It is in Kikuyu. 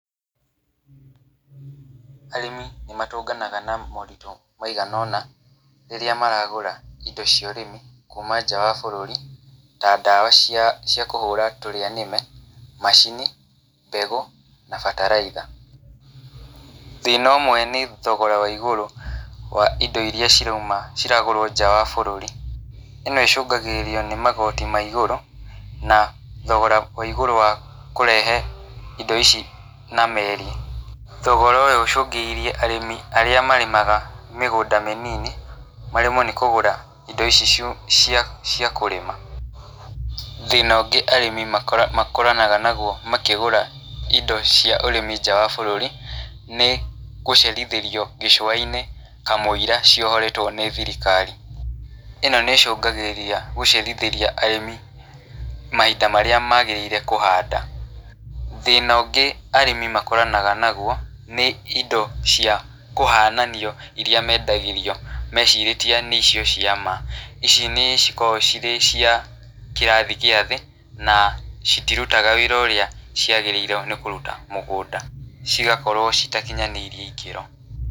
Arĩmi nĩ matũnganaga na moritũ maigana ũna rĩrĩa maragũra indo cia ũrĩmi kuuma nja wa bũrũri, ta ndawa cia cia kũhũra tũrĩa nĩme, macini, mbegũ, na bataraitha. Thĩna ũmwe nĩ thogora wa igũrũ wa indo irĩa cirauma ciragũrwo nja wa bũrũri. ĩno ĩcũngagĩrĩria nĩ magoti ma ĩgũrũ, na thogora wa igũrũ wa kũrehe indo ici na meri. Thogora ũyũ ũcũngĩrĩirie arĩmi arĩa marĩmaga mĩgũnda mĩnini, maremwo nĩ kũgũra indo ici cia cia kũrĩma. Thĩna ũngĩ arĩmi makoranaga naguo makĩgũra indo cia ũrĩmi nja wa bũrũri, nĩ gũcerithĩrio gĩcũa-inĩ kamũira ciohoretwo nĩ thirikari. ĩno nĩ ĩcungagĩrĩria gũcerithĩria arĩmi mahinda marĩa magĩrĩire kũhanda. Thĩna ũngĩ arĩmi makoranaga naguo, nĩ indo cia kũhananio irĩa mendagĩrio mecirĩtie nĩcio cia ma. Ici nĩ cikoragwo cirĩ cia kĩrathi gĩa thĩ, na citirutaga wĩra ũrĩa ciagĩrĩirwo nĩ kũruta mũgũnda. Cigakorwo citakinyanĩirie ikĩro.